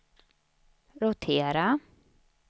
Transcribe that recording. rotera